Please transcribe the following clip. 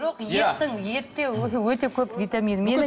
жоқ еттің етте уже өте көп витамин